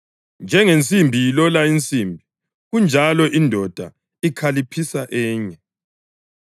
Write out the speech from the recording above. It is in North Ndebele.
Njengensimbi ilola insimbi, kanjalo indoda ikhaliphisa enye.